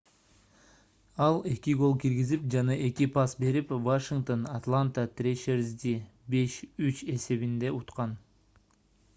ал 2 гол киргизип жана 2 пас берип вашингтон атланта трэшерзди 5:3 эсебинде уткан